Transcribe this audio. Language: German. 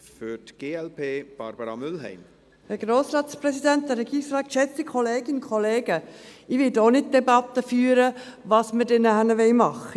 Ich werde auch nicht eine Debatte führen, was wir nachher machen wollen.